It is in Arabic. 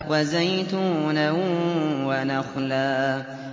وَزَيْتُونًا وَنَخْلًا